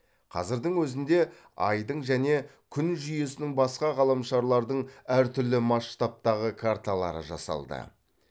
қазірдің өзінде айдың және күн жүйесінің басқа ғаламшарлардың әр түрлі масштабтағы карталары жасалды